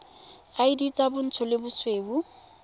id tsa bontsho le bosweu